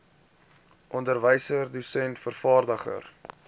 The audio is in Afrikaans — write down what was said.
onderwyser dosent vervaardiger